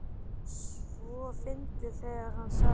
svo fyndið þegar HANN sagði það!